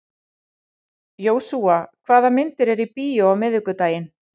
Jósúa, hvaða myndir eru í bíó á miðvikudaginn?